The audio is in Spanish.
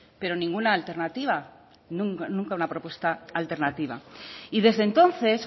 pero ninguna alternativa nunca una propuesta alternativa y desde entonces